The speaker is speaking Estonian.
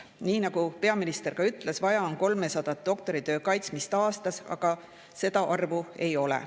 Nii nagu peaminister ütles, vaja on kaitsta 300 doktoritööd aastas, aga seda arvu ei ole.